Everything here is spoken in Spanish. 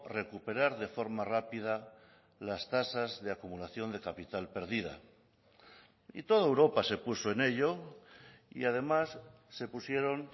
recuperar de forma rápida las tasas de acumulación de capital perdida y toda europa se puso en ello y además se pusieron